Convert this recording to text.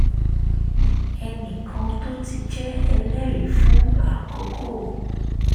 ẹnì kan tó ti jẹ́ ẹlẹ́rìí fún àkókò